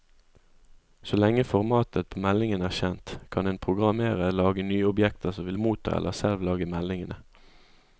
Så lenge formatet på meldingen er kjent, kan en programmerer lage nye objekter som vil motta eller selv lage meldingene.